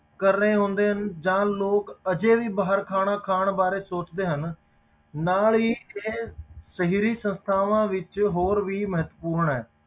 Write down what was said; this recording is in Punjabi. ਕਰ ਰਹੇ ਹੁੰਦੇ ਜਾਂ ਲੋਕ ਹਜੇ ਵੀ ਬਾਹਰ ਖਾਣਾ ਖਾਣ ਬਾਰੇ ਸੋਚਦੇ ਹਨ, ਨਾਲ ਹੀ ਇਹ ਸ਼ਹਿਰੀ ਸੰਸਥਾਵਾਂ ਦੇ ਵਿੱਚ ਹੋਰ ਵੀ ਮਹੱਤਵਪੂਰਨ ਹੈ।